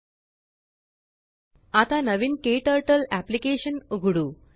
httpspoken tutorialorg आता नवीन KTurtle application उघडू